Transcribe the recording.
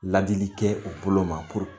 Ladili kɛ u bolo ma